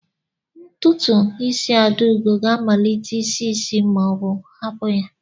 Ntutu isi Adaugo ga-amalite isi isi ma ọ hapụ ya.